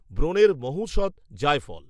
ব্রণের মহোঔষধ “জায়ফল”